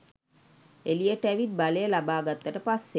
එලියට ඇවිත් බලය ලබාගත්තට පස්සෙ.